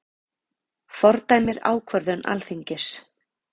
Fordæmir ákvörðun Alþingis